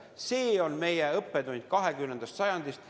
See on meie õppetund 20. sajandist.